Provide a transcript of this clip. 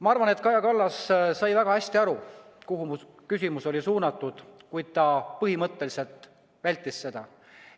Ma arvan, et Kaja Kallas sai väga hästi aru, kuhu mu küsimus oli suunatud, kuid ta põhimõtteliselt vältis seda.